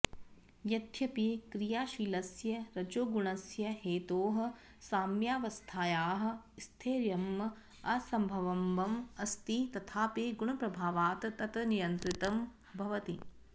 यद्यपि क्रियाशीलस्य रजोगुणस्य हेतोः साम्यावस्थायाः स्थैर्यम् असम्भवम् अस्ति तथापि गुणप्रभावात् तत् नियन्त्रितं भवति